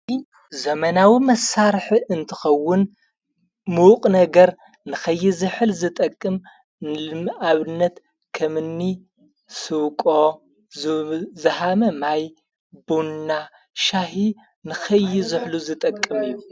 ዘመናዊ መሳርሕ እንትኸውን ምዉቕ ነገር ንኸይ ዘኅል ዝጠቅም ኣብነት ኸምኒ ሥውቆ ዝሃመ ማይ ቡንና ሻሕ ንኸይ ዝሕሉ ዝጠቅም እዩ።